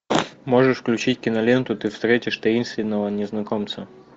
можешь включить киноленту ты встретишь таинственного незнакомца